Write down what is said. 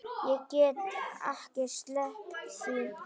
Ég get ekki sleppt því.